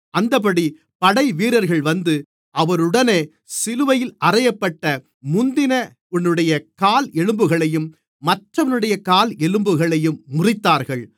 அந்தப்படி படைவீரர்கள் வந்து அவருடனே சிலுவையில் அறையப்பட்ட முந்தினவனுடைய கால் எலும்புகளையும் மற்றவனுடைய கால் எலும்புகளையும் முறித்தார்கள்